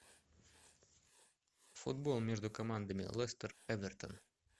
футбол между командами лестер эвертон